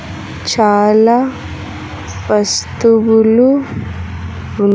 చాలా వస్తువులు ఉన్--